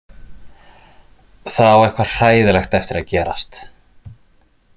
Það á eitthvað hræðilegt eftir að gerast.